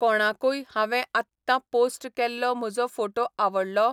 कोणाकूय हांवें आत्तां पोस्ट केल्लो म्हजो फोटो आवडलो?